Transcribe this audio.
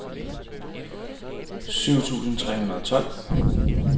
syv tusind tre hundrede og tolv